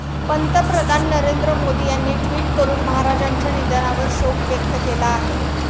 पंतप्रधान नरेंद्र मोदी यांनी ट्विट करून महाराजांच्या निधनावर शोक व्यक्त केला आहे.